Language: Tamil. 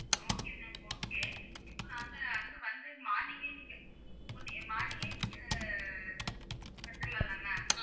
Okay ma'am okay இப்ப நாங்க அங்க வந்த morning கே நீங்க one morning கே நீங்க வந்துருலாங்களா